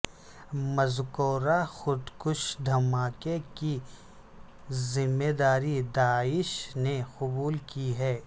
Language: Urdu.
مذکورہ خود کش دھماکے کی ذمے داری داعش نے قبول کی ہے